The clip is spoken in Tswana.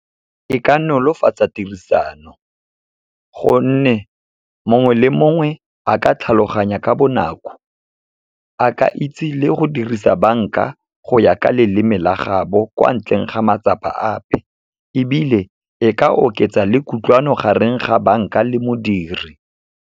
E ka nolofatsa tirisano, gonne mongwe le mongwe a ka tlhaloganya ka bonako. A ke itse le go dirisa banka go ya ka leleme la gaabo, kwa ntleng ga matsapa ape. Ebile e ka oketsa le kutlwano, gareng ga banka le modiri.